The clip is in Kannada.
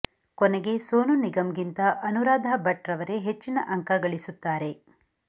ಕೊನೆಗೆ ಸೋನು ನಿಗಮ್ ಗಿಂತ ಅನುರಾಧ ಭಟ್ ರವರೇ ಹೆಚ್ಚಿನ ಅಂಕ ಗಳಿಸುತ್ತಾರೆ